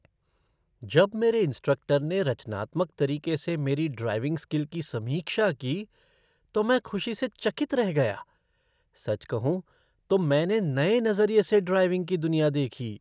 जब मेरे इंस्ट्रक्टर ने रचनात्मक तरीके से मेरी ड्राइविंग स्किल की समीक्षा की, तो मैं खुशी से चकित रह गया। सच कहूँ तो मैंने नए नज़रिए से ड्राइविंग की दुनिया देखी।